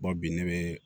bi ne bɛ